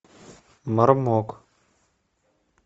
мармок